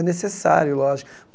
É necessário, lógico.